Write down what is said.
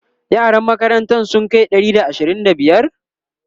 yaran makarantan sun Kai Ɗari da ashirin da biyar?